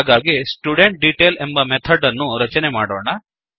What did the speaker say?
ಹಾಗಾಗಿ ಸ್ಟುಡೆಂಟ್ಡೆಟೈಲ್ ಎಂಬ ಮೆಥಡ್ ಅನ್ನು ರಚನೆ ಮಾಡೋಣ